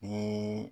Ni